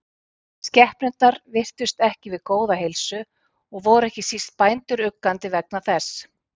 Skepnurnar virtust ekki við góða heilsu og voru ekki síst bændur uggandi vegna þess.